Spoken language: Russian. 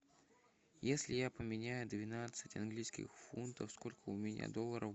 если я поменяю двенадцать английских фунтов сколько у меня долларов